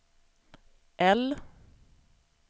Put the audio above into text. L